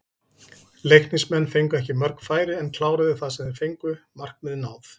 Leiknismenn fengu ekki mörg færi en kláruðu það sem þeir fengu, markmið náð?